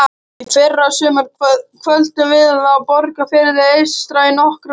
Í fyrrasumar dvöldum við á Borgarfirði eystra í nokkra daga.